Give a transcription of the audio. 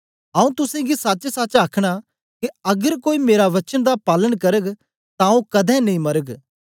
आऊँ तुसेंगी सचसच आखना के अगर कोई मेरा वचन दा पालन करग तां ओ कदें नेई मरग